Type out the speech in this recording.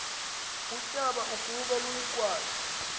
utshaba ukuba luyigwaze